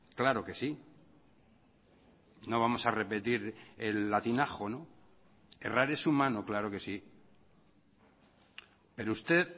claro que sí no vamos a repetir el latinajo errar es humano claro que sí pero usted